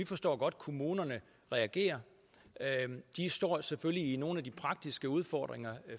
forstår kommunerne reagerer de står selvfølgelig i nogle af de praktiske udfordringer